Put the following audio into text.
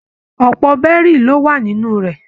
Ọpọ bẹrì lo wà nínú rẹ